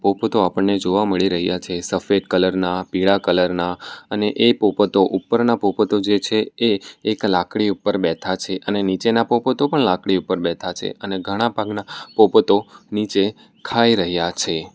પોપતો આપણને જોવા મળી રહ્યા છે સફેદ કલર ના પીળા કલર ના અને એ પોપતો ઉપરના પોપતો જે છે એ એક લાકડી ઉપર બેઠા છે અને નીચેના પોપતો પણ લાકડી ઉપર બેઠા છે અને ઘણા ભાગના પોપતો નીચે ખાઈ રહ્યા છે.